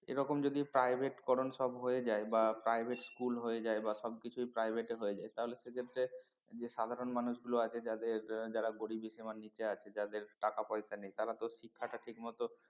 এরকম private করণ সব হয়ে যায় বা private school হয়ে যায় বা সবকিছুই private এ হয়ে যায় তাহলে সে ক্ষেত্রে যে সাধারণ মানুষগুলো আছে যাদের যারা গরিবী সীমার নিচে আছে যাদের টাকা পয়সা নেই তারা তো শিক্ষাটা ঠিকমতো